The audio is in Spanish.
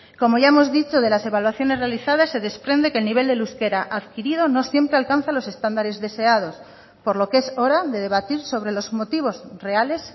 como ya hemos dicho de las evaluaciones realizadas se desprende que el nivel del euskera adquirido no siempre alcanza los estándares deseados por lo que es hora de debatir sobre los motivos reales